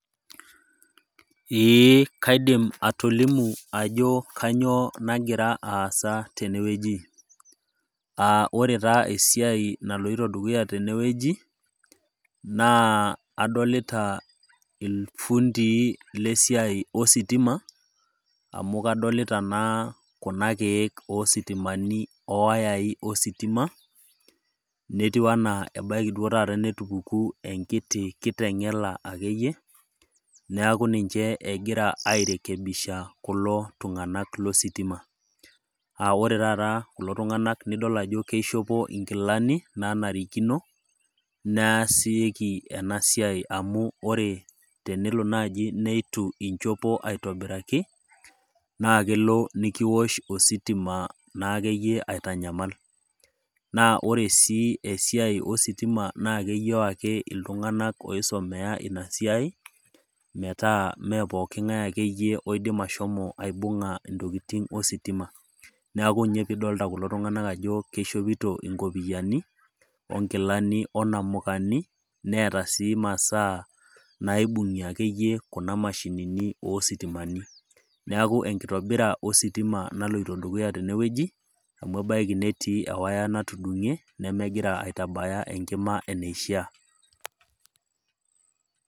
Ee kaidim atolimu ajo kainyoo nagira aasa tene wueji, aa ore taa esiai naloito dukuya tene wueji, naa adolita esiai oo iltung'anak lo sitima, amu kadolita naa kuna keek o isitimani, o iwayai o sitima, netiu anaa ebaiki duo taata netupukuo enkiti kiteng'ela ake eiyie neaku ninche egira airekebisha kulo tungana lo sitima aa ore taata kulo tung'anak nidol ajo keishopo inkilani, naanarikino naasieki naaji ena siai amu tenelo naaji neitu inchopo anaa aitobiraki naa elo naa nekiosh ositima naa ake iyie aitanyamal. Ore naake iyie esiai ositima naa keyou iltung'anak oisomea ina siai, metaa me pooki ng'ai ake iyie oidim ashomo aibung'a intokitin ositima, neaku ninye pee idolita kulo tung'anak ajo keishopito inkopiani, o inkilani, o inamukani, neata ake iyie masaa naibung'ie ake iyie kuna mashinini oo sitimani, neku enitobira ositima naloito dukuya tene wueji, amu ebaiki netii ewaya natudung'e, nemegira aitabaya enkima eneishaa.